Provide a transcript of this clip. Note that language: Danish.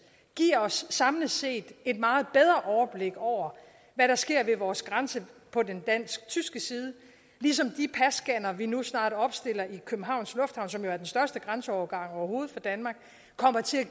giver os samlet set et meget bedre overblik over hvad der sker ved vores grænse på den dansk tyske side ligesom de passcannere vi nu snart opstiller i københavns lufthavn som jo er den største grænseovergang overhovedet for danmark kommer til at